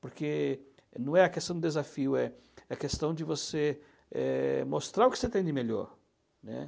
Porque não é a questão do desafio, é é a questão de você é mostrar o que você tem de melhor, né.